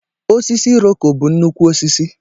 Osisi iroko bu nnukwu osisi.